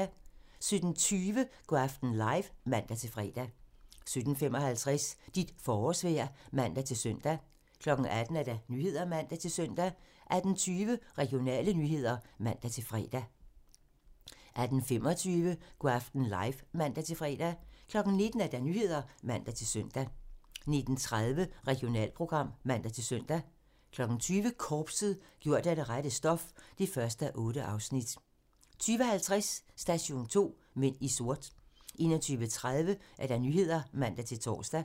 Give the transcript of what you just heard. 17:20: Go' aften live (man-fre) 17:55: Dit forårsvejr (man-søn) 18:00: Nyhederne (man-søn) 18:20: Regionale nyheder (man-fre) 18:25: Go' aften live (man-fre) 19:00: Nyhederne (man-søn) 19:30: Regionalprogram (man-søn) 20:00: Korpset - gjort af det rette stof (1:8) 20:50: Station 2: Mænd i sort 21:30: Nyhederne (man-tor)